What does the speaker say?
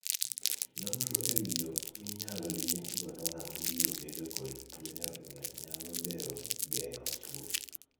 Nonro e wii yoo minyal liek godo ng'ama biro bedo kod tuo nyarogno nyalo bero geng'o tuo.